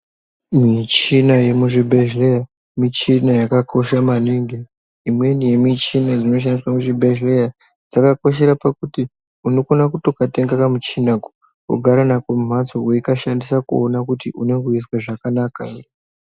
Michini yemuzvibhedhleya michina yakakosha maningi imweni yemuchina dzinoshandiswa muzvibhedhleya dzakakoshera pakuti unokwanisa kutokatenga kamuchinako wogara nako mumhatso weikashandisa kuona kuti unenge weizwa zvakanaka ere.